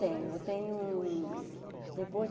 Tenho, tenho um.